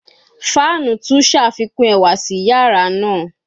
Fanu tun ṣafikun ẹwa si yara naa